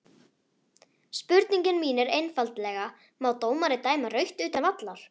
Spurningin mín er einfaldlega má dómari dæma rautt utan vallar?